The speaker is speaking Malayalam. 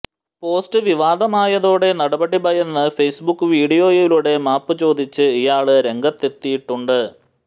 പോസ്റ്റ് വിവാദമായതോടെ നടപടി ഭയന്ന് ഫേസ്ബുക്ക് വീഡിയോയിലൂടെ മാപ്പ് ചോദിച്ച് ഇയാള് രംഗത്തെത്തിത്തിയിട്ടുണ്ട്